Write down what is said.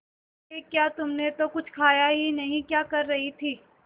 ये क्या तुमने तो कुछ खाया ही नहीं क्या कर रही थी